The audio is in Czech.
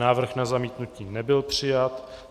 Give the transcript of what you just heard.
Návrh na zamítnutí nebyl přijat.